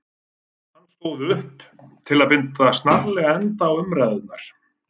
Hann stóð upp til að binda snarlega enda á umræðurnar.